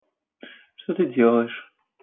что ты делаешь